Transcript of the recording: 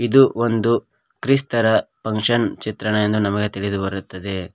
ಇದು ಒಂದು ಕ್ರಿಸ್ತರ ಫಂಕ್ಷನ್ ಚಿತ್ರಣ ಎಂದು ನಮಗೆ ತಿಳಿದು ಬರುತ್ತದೆ.